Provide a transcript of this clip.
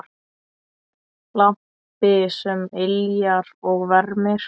Lampi sem yljar og vermir.